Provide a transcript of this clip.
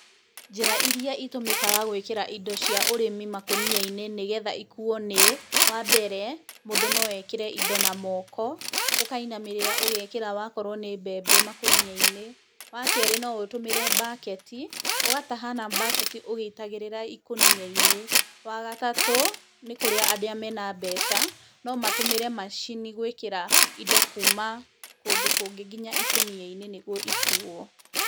Njĩra irĩa ĩtũmĩkaga gūĩkĩra indo cia ũrĩmi makũnia-inĩ nĩgetha ikuo nĩ: wa mbere mūndū no ekĩre indo na moko, ũkainamĩrĩra ũgekĩra wakorwo nĩ mbembe makūnia-inĩ; wa kerĩ no ũtũmĩre bucket, ũgataha na bucket, ũgĩitagĩrĩra ikũnia-inĩ; wa gatatũ nĩ kũrĩa arĩa mena mbeca no matumĩre macini gũĩkĩra indo kuuma kũndũ kũngĩ ginya ikũnia-inĩ nĩguo ikuo.